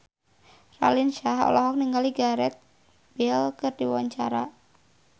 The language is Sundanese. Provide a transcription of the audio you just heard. Raline Shah olohok ningali Gareth Bale keur diwawancara